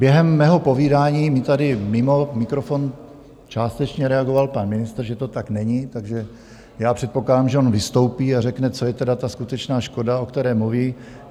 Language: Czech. Během mého povídání mi tady mimo mikrofon částečně reagoval pan ministr, že to tak není, takže já předpokládám, že on vystoupí a řekne, co je tedy ta skutečná škoda, o kterém mluví.